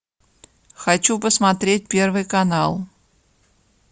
хочу посмотреть первый канал